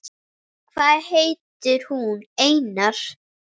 Hvað heitir hún, Einar?